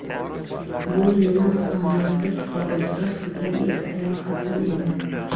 Bu meni ota-onamsiz xorijga qilgan ilk sayohatim edi.